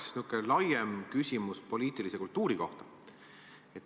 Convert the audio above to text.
Mul on niisugune laiem küsimus poliitilise kultuuri kohta.